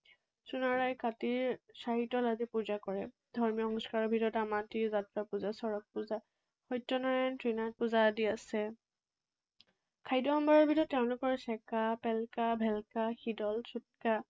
কাটি চাৰিতল সাজি পূজা কৰে। ধৰ্মীয় অনুষ্ঠানৰ ভিতৰত মাটি, যাত্ৰা পূজা, চৰক পূজা, সত্যনাৰায়ণ, শ্ৰীনাথ পূজা আদি আছে। খাদ্য সম্ভাৰৰ ভিতৰত তেওঁলোকৰ চেকা, পেলকা, ভেলকা